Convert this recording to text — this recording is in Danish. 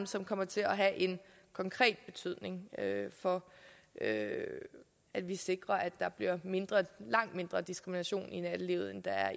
som kommer til at have konkret betydning for at vi sikrer at der bliver mindre diskrimination i nattelivet end der